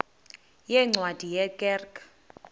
yeencwadi ye kerk